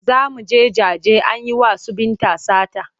Za mu je jaje an yi wa su Binta sata.